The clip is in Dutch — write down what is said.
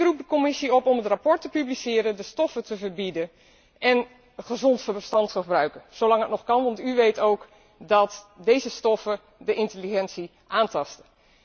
Ik roep de Commissie op om het rapport te publiceren, de stoffen te verbieden en gezond verstand te gebruiken zolang het nog kan, want u weet ook dat deze stoffen de intelligentie aantasten.